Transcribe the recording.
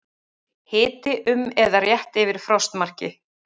Hiti um eða rétt yfir frostmarki